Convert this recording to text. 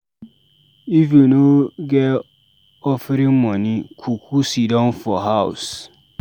If you no get offering moni, kuku sidon for house